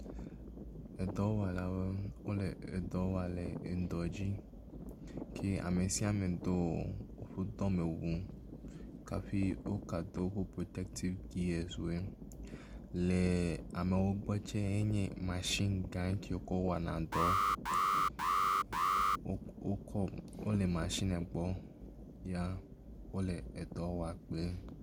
Edɔwɔlawo le edɔwɔ le eŋdɔ dzi ke amɛsiame dó wóƒe dɔmewu kafi wogado protective gearswoe le ameawoe gbɔ tsɛ nye machine gã ke wókɔ wɔnadɔ wokɔ wóle machinɛ gbɔ ya wóle edɔwɔ kpli